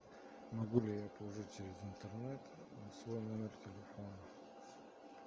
могу ли я положить через интернет на свой номер телефона